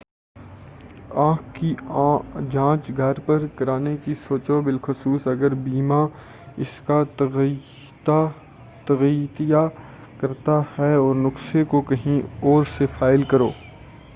آنکھ کی جانچ گھر پر کرانے کی سوچو بالخصوص اگر بیمہ اس کا تغطیہ کرتا ہے اور نسخہ کو کہیں اور سے فائل کرو